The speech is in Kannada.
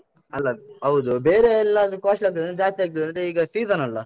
ಅಲ್ಲ, ಹೌದು. ಬೇರೆ ಎಲ್ಲಾದ್ರೂ costly ಆದ್ರೆ, ಜಾಸ್ತಿ ಆಗ್ತದಂತಾದ್ರೆ, ಈಗ season ಅಲ್ಲ?